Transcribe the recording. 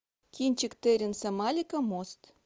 кинчик терренса малика мост